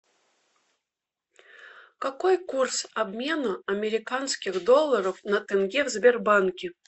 какой курс обмена американских долларов на тенге в сбербанке